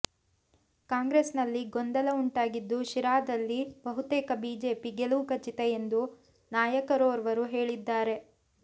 ಕಾಂಗ್ರೆಸ್ ನಲ್ಲಿ ಗೊಂದಲ ಉಂಟಾಗಿದ್ದು ಶಿರಾದಲ್ಲಿ ಬಹುತೇಕ ಬಿಜೆಪಿ ಗೆಲುವು ಖಚಿತ ಎಂದು ನಾಯಕರೋರ್ವರು ಹೇಳಿದ್ದಾರೆ